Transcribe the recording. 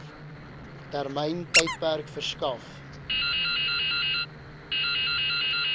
termyn tydperk verskaf